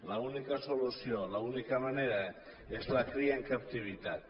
l’única solució l’única manera és la cria en captivitat